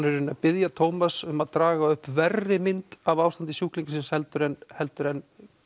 veru að biðja Tómas um að draga upp verri mynd af ástandi sjúklings heldur en heldur en